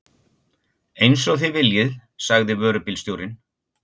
Eins og þið viljið sagði vörubílstjórinn.